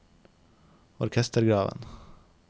orkestergraven